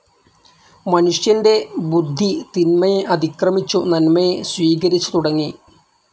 മനുഷ്യൻ്റെ ബുദ്ധി തിന്മയെ അതിക്രമിച്ചു നന്മയെ സ്വീകരിച്ചു തുടങ്ങി.